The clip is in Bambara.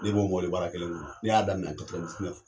Ne b'o mobilibara kelen kɔnɔ ne y'a daminɛ